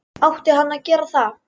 Átti hann að gera það??